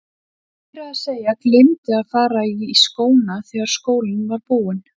Hann meira að segja gleymdi að fara í skóna þegar skólinn var búinn.